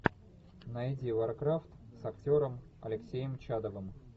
найди варкрафт с актером алексеем чадовым